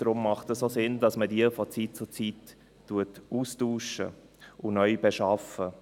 Deshalb macht es auch Sinn, dass man diese von Zeit zu Zeit austauscht und neu beschafft.